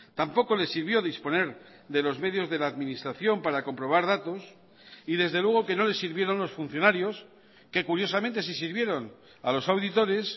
tampoco le sirvió disponer de los medios de la administración para comprobar datos y desde luego que no le sirvieron los funcionarios que curiosamente sí sirvieron a los auditores